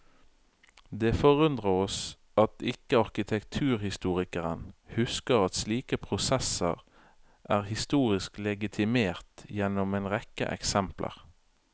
Det forundrer oss at ikke arkitekturhistorikeren husker at slike prosesser er historisk legitimert gjennom en rekke eksempler.